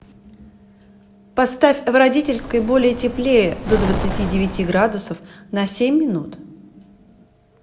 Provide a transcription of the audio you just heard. поставь в родительской более теплее до двадцати девяти градусов на семь минут